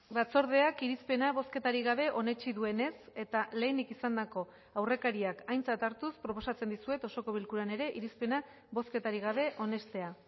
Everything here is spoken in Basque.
batzordeak irizpena bozketarik gabe onetsi duenez eta lehenik izandako aurrekariak aintzat hartuz proposatzen dizuet osoko bilkuran ere irizpena bozketarik gabe onestea